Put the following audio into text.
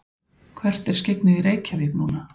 hvert er skyggnið í reykjavík núna